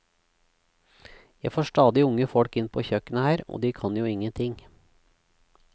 Jeg får stadig unge folk inn på kjøkkenet her, og de kan jo ingenting.